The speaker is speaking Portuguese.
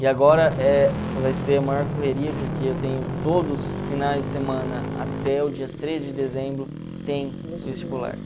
E agora eh vai ser a maior correria, porque eu tenho todos os finais de semana, até o dia três de dezembro, tem vestibular.